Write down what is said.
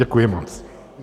Děkuji moc.